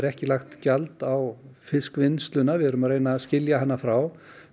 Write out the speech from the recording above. ekki lagt gjald á fiskvinnsluna við erum að reyna að skilja hana frá